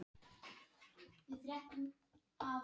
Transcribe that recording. Valdimar ótrauður út um dyrnar, Smári elti.